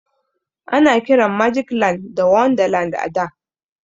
Ana kiran magic land da wonderland a da.